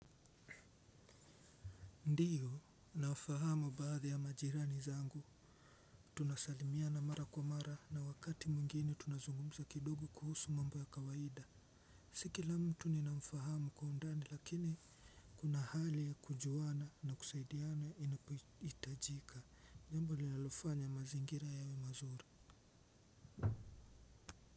Ndiyo nafahamu baadhi ya majirani zangu tunasalimia na mara kwa mara na wakati mwingine tunazungumza kidogo kuhusu mambo ya kawaida. Si kila mtu ninamfahamu kwa undani lakini kuna hali ya kujuana na kusaidiana inapoitajika. Jambo linalofanya mazingira yawe mazuri.